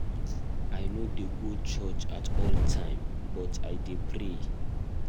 I no dey go church all the time but I dey pray.